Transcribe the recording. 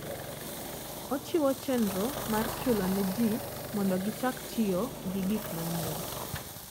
Ochiwo chenro mar chulo ne ji mondo gichak tiyo gi gik manyien.